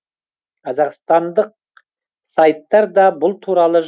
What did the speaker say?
қазақстандық сайттар да бұл туралы